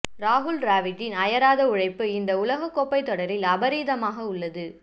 ராகுல் டிராவிட்டின் அயராத உழைப்பு இந்த உலகக் கோப்பைத் தொடரில் அபரிதமாக உள்ளது